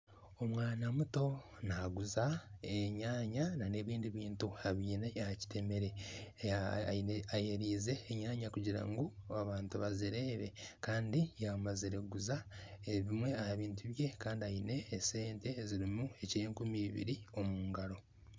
Omwaana muto naguza enyanya n'ebindi bintu abyine aha kitemere ayereize Enyanya kugira ngu abantu bazireebe kandi yamazire kuguza ebimwe aha bintu bye kandi aine esente ezirimu ez'enkumi ibiri omungaro.